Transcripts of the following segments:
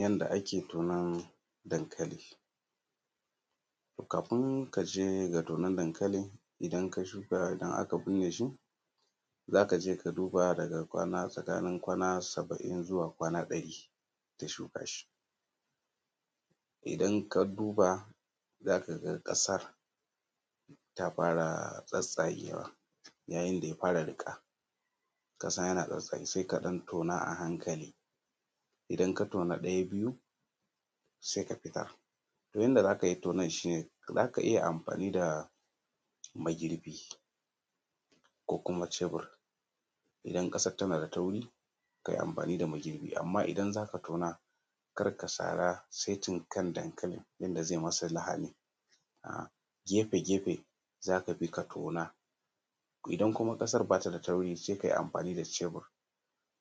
Yadda ake tonon dankali kafin ka je ga tonon dankali idan ka shuka idan aka burne shi shi za ka je ka duba tsakanin kwana saba'in zuwa kwana ɗari da shuka shi. Idan ka duba za ka ga ƙasa ta fara tsattsagewa alamar ya fara riƙa sai ka ɗan tona a hankali idan ka tona ɗaya biyu sai ka fita. Yadda za ka yi tonon shi ne za ka yi amfani da magirbi ko kuma cebur idan ƙasar na da taurinka yi amfani da magirbi amma idan za ka tona kar ka sara saitin kan dankalin, yadda kar ya yi masa lahani gefe -gefe za ka tona. Idan kuma Ƙasar ba ta da nauyi sai ka yi amfani da cebur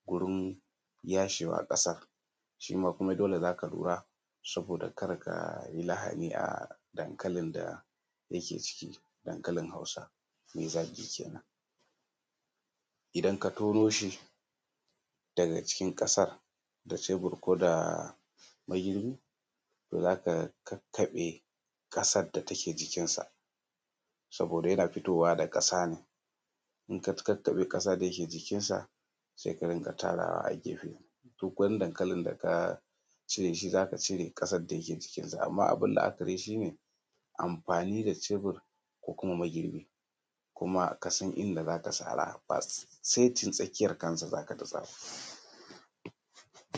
wurin yashewa ƙasar shi ma dole za ka lura saboda kar ka yi lahani a dankalin da yake cikin dankalin Hausa mai zagi kenan. Idna ka tono shi daga cikin ƙasa da cebur ko da magirbi, to za ka kakkaɓe ƙasar da take jikinsa saboda yana fitowa da ƙasa idan ka kakkaɓe kasar da yake jikinsa sai ka ajiye a gefe, duk wani dankalin da ka cire shi za ka cire kasar da yake jikinsa. Amma abun la'akari shi ne amfani da cevur ko kumq magirbi ba saitin tsakiyar kansa za ka sara ba.